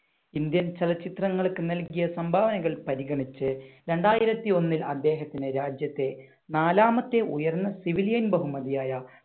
Indian ചലച്ചിത്രങ്ങൾക്ക് നൽകിയ സംഭാവനകൾ പരിഗണിച്ച് രണ്ടായിരത്തി ഒന്നിൽ അദ്ദേഹത്തിന് രാജ്യത്തെ നാലാമത്തെ ഉയർന്ന സിവിലിയൻ ബഹുമതിയായ